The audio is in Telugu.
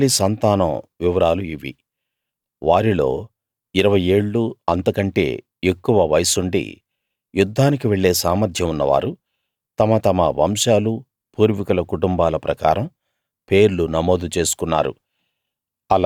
నఫ్తాలి సంతానం వివరాలు ఇవి వారిలో ఇరవై ఏళ్ళూ అంతకంటే ఎక్కువ వయస్సుండి యుద్ధానికి వెళ్ళే సామర్థ్యం ఉన్నవారు తమ తమ వంశాలూ పూర్వీకుల కుటుంబాల ప్రకారం పేర్లు నమోదు చేసుకున్నారు